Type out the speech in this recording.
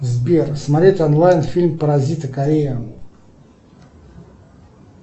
сбер смотреть онлайн фильм паразиты корея